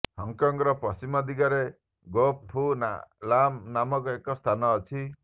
ହଂକଂର ପଶ୍ଚିମ ଦିଗରେ Pok Fu Lam ନାମକ ଏକ ସ୍ଥାନ ଅଛି